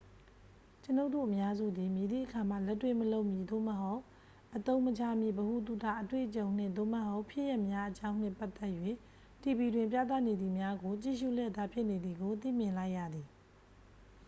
ကျွန်ုပ်တို့အများစုသည် မည်သည့်အခါမှ လက်တွေ့မလုပ်မည့် သို့မဟုတ် အသုံးမချမည့် ဗဟုသုတ အတွေ့အကြုံ နှင့် သို့မဟုတ် ဖြစ်ရပ်များအကြောင်းနှင့်ပတ်သက်၍ တီဗီတွင်ပြသနေသည်များကို ကြည့်ရှု့လျက်သား ဖြစ်နေသည်ကို သိမြင်လိုက်ရသည်